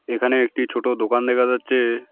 এখানে একটি ছোট দোকান দেখা যাচ্ছে।